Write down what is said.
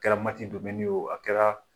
Kɛra mati wo a kɛra